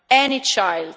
Any child?